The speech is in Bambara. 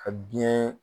Ka biɲɛ